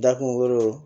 Da kungolo